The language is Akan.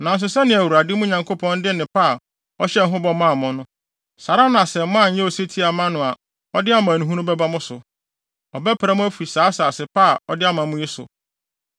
Nanso sɛnea Awurade, mo Nyankopɔn de nnepa a ɔhyɛɛ ho bɔ maa mo no, saa ara na sɛ moanyɛ osetie amma no a ɔde amanehunu bɛba mo so. Ɔbɛpra mo afi saa asase pa a ɔde ama mo yi so.